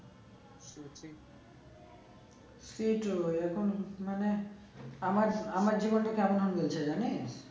সেই তো এখন মানে আমার আমার জিবনটা কেমন হলো যে জানিস